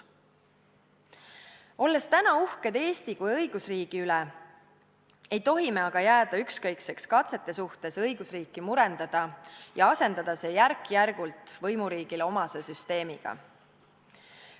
Olles täna uhked Eesti kui õigusriigi üle, ei tohi me aga jääda ükskõikseks katsete suhtes õigusriiki murendada ja asendada see järk-järgult võimuriigile omase süsteemiga.